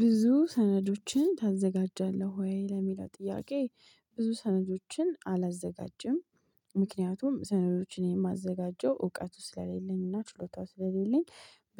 ብዙ ሰነዶችን ታዘጋጃለህ ወይ? ለሚለው ጥያቄ ብዙ ሰነዶችን አላዘጋጅም ምክንያቱም ሰነዶችን የማዘጋጀው እውቀት ውስጥ ስለሌለንና ችሎታው ስለሌለን።